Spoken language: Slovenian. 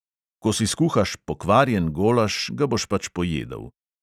Ko si skuhaš pokvarjen golaž, ga boš pač pojedel.